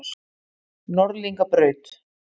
Norðlingabraut